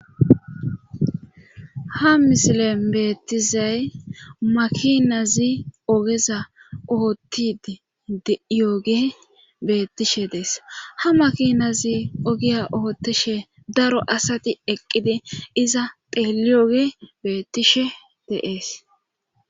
Ha misilen beettizay makinazi ogeza oottid yooge beettishe dees ha makinazi ogiya oottishe daro asati eqqidi iza peeli oge beettishe deees.